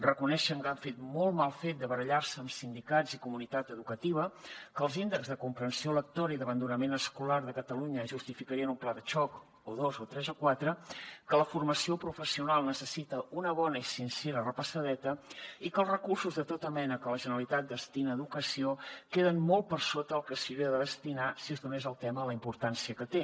reconeixen que han fet molt mal fet de barallar se amb sindicats i comunitat educativa que els índexs de comprensió lectora i d’abandonament escolar de catalunya justificarien un pla de xoc o dos o tres o quatre que la formació professional necessita una bona i sincera repassadeta i que els recursos de tota mena que la generalitat destina a educació queden molt per sota del que s’hi hauria de destinar si es donés al tema la importància que té